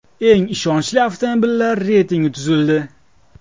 Eng ishonchli avtomobillar reytingi tuzildi.